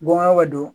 Bɔnnaw ka don